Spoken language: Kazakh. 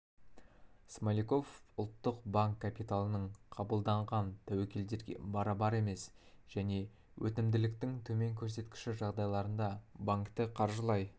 смоляков ұлттық банк банк капиталының қабылданған тәуекелдерге барабар емес және өтімділіктің төмен көрсеткіші жағдайларында банкті қаржылай